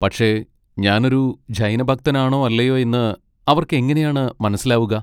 പക്ഷെ ഞാനൊരു ജൈന ഭക്തനാണോ അല്ലയോ എന്ന് അവർക്കെങ്ങനെയാണ് മനസ്സിലാവുക?